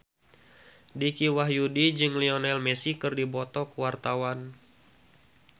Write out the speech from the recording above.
Dicky Wahyudi jeung Lionel Messi keur dipoto ku wartawan